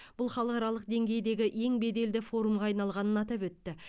бұл халықаралық деңгейдегі ең беделді форумға айналғанын атап өтті